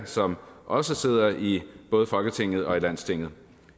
som også sidder i både folketinget og i landstinget